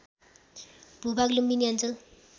भूभाग लुम्बिनी अञ्चल